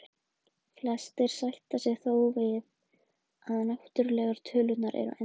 Flestir sætta sig þó við að náttúrlegu tölurnar eru endalausar.